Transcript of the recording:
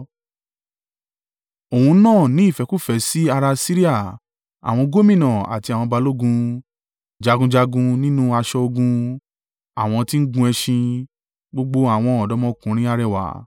Òun náà ní ìfẹ́kúfẹ̀ẹ́ sí ará Asiria àwọn gómìnà àti àwọn balógun, jagunjagun nínú aṣọ ogun, àwọn tí ń gun ẹṣin, gbogbo àwọn ọ̀dọ́mọkùnrin arẹwà.